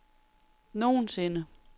nogensinde